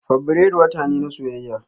Fabrairu wata ne na soyayya.